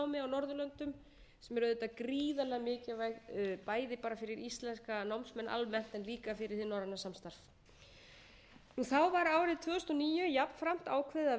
norðurlöndum sem er auðvitað gríðarlega mikilvægt bæði bara fyrir íslenska námsmenn almennt en líka fyrir hið norræna samstarf þá var árið tvö þúsund og níu jafnframt ákveðið að verja rúmlega sautján